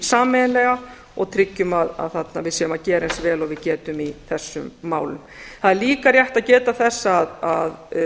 sameiginlega og tryggjum að við séum að gera eins vel og við getum í þessum málum það er líka rétt að geta þess að